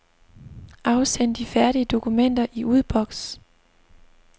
Afsend de færdige dokumenter i udboks.